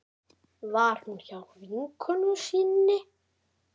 Var hún hjá vinkonu sinni?